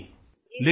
जी sir